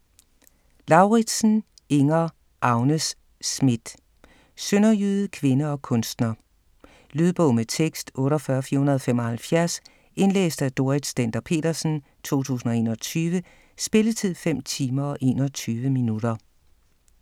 Lauridsen, Inger: Agnes Smidt: sønderjyde, kvinde og kunstner Lydbog med tekst 48475 Indlæst af Dorrit Stender-Petersen, 2021. Spilletid: 5 timer, 21 minutter.